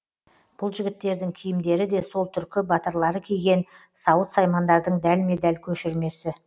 бұл жігіттердің киімдері де сол түркі батырлары киген сауыт саймандардың дәлме дәл көшірмесі